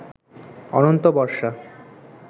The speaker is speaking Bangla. অনন্ত বর্ষা